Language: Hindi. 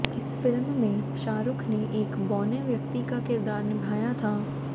इस फिल्म में शाहरुख ने एक बौने व्यक्ति का किरदार निभाया था